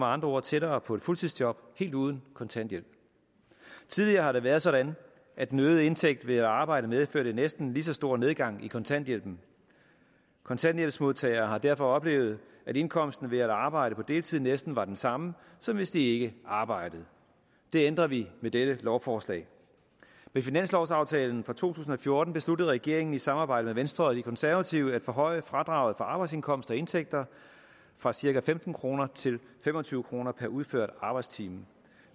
andre ord tættere på et fuldtidsjob helt uden kontanthjælp tidligere har det været sådan at den øgede indtægt ved at arbejde medførte en næsten lige så stor nedgang i kontanthjælpen kontanthjælpsmodtagere har derfor oplevet at indkomsten ved at arbejde på deltid næsten var den samme som hvis de ikke arbejdede det ændrer vi med dette lovforslag ved finanslovsaftalen for to tusind og fjorten besluttede regeringen i samarbejde med venstre og de konservative at forhøje fradraget for arbejdsindkomst og indtægter fra cirka femten kroner til fem og tyve kroner per udført arbejdstime